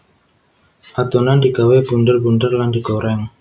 Adonan digawé bunder bunder lan digoreng